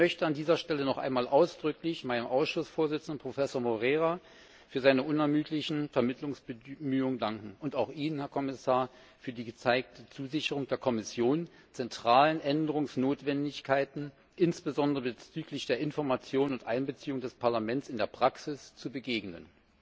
Ich möchte an dieser Stelle noch einmal ausdrücklich meinem Ausschussvorsitzenden, Professor Moreira, für seine unermüdlichen Vermittlungsbemühungen danken, und auch Ihnen, Herr Kommissar, für die gegebene Zusicherung der Kommission, zentralen Änderungsnotwendigkeiten, insbesondere bezüglich der Information und Einbeziehung des Parlaments, in der Praxis zu begegnen.